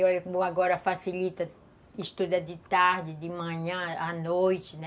Como agora facilita, estuda de tarde, de manhã, à noite, né?